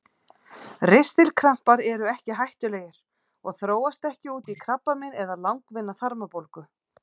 Ristilkrampar eru ekki hættulegir og þróast ekki út í krabbamein eða langvinna þarmabólgu.